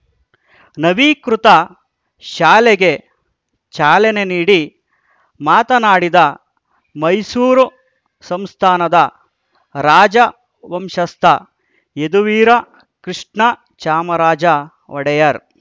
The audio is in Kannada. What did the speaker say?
ನವೀಕೃತ ಶಾಲೆಗೆ ಚಾಲನೆ ನೀಡಿ ಮಾತನಾಡಿದ ಮೈಸೂರ ಸಂಸ್ಥಾನದ ರಾಜ ವಂಶಸ್ಥ ಯದುವೀರ ಕೃಷ್ಣ ಚಾಮರಾಜ ಒಡೆಯರ್‌